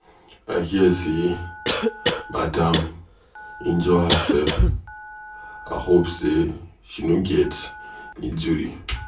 I hear say Madam injure herself. I hope say she no get injury.